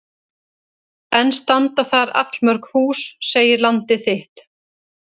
Enn standa þar allmörg hús segir Landið þitt.